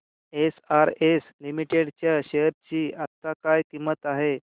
SRS limited च्या share ची आता काय किंमत आहे